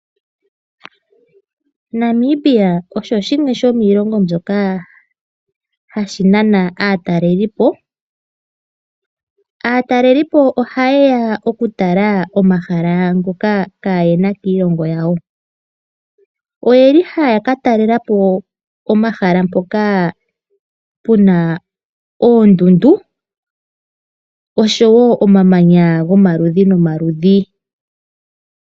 Namibia osho shimwe shomiilongo mbyoka hashi nana aatalelipo. Aatalelipo oha ye ya okutala omahala ngoka kaayena kiilongo yawo. Oyeli haya ka talelapo omahala mpoka puna oondundu osho wo omamanya gomaludhi nomaludhi.